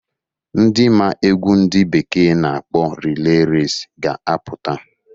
Ndị maa egwu ndị bekee na-akpọ reley resi ga-aputa